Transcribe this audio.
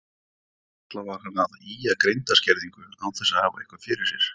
Varla var hann að ýja að greindarskerðingu án þess að hafa eitthvað fyrir sér.